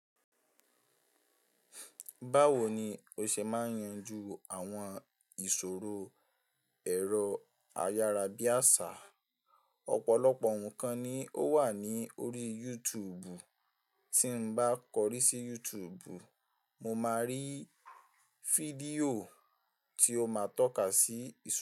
Báwo ni o ṣe máa yanjú àwọn ìṣòro ẹ̀rọ ayárabíàṣá? Ọ̀pọ̀lọ̀pọ̀ nǹkan ni ó wà ní orí YouTube, tí n bá kọrí sí YouTube, mo máa rí fídíò tí ó máa tọ́ka sí ìṣò.